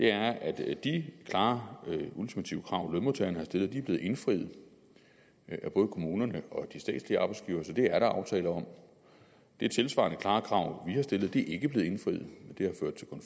er at de klare ultimative krav lønmodtagerne har stillet er blevet indfriet af både kommunerne og de statslige arbejdsgivere så det er der aftale om de tilsvarende klare krav vi har stillet er ikke blevet indfriet